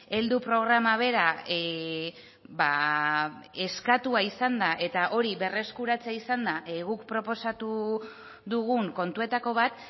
heldu programa bera eskatua izan da eta hori berreskuratzea izan da guk proposatu dugun kontuetako bat